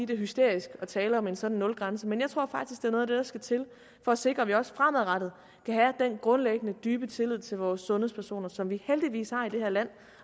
det er hysterisk at tale om en sådan nulgrænse men jeg tror faktisk noget af det der skal til for at sikre at vi også fremadrettet kan have den grundlæggende dybe tillid til vores sundhedspersoner som vi heldigvis har i det her land